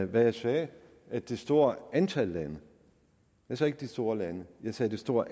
hvad jeg sagde at det store antal lande jeg sagde ikke de store lande jeg sagde det store